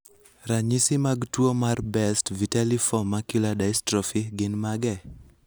Ranyisi mag tuo mar Best vitelliform macular dystrophy gin mage?